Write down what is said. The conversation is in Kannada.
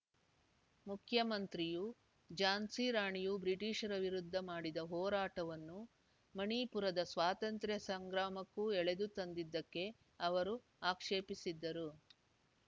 ಮುಖ್ಯಮಂತ್ರಿಯು ಝಾನ್ಸಿ ರಾಣಿಯು ಬ್ರಿಟಿಷರ ವಿರುದ್ಧ ಮಾಡಿದ ಹೋರಾಟವನ್ನು ಮಣಿಪುರದ ಸ್ವಾತಂತ್ರ್ಯ ಸಂಗ್ರಾಮಕ್ಕೂ ಎಳೆದು ತಂದಿದ್ದಕ್ಕೆ ಅವರು ಆಕ್ಷೇಪಿಸಿದ್ದರು